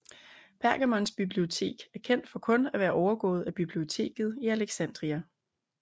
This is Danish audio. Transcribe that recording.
Pergamons bibliotek var kendt for kun at være overgået af Biblioteket i Alexandria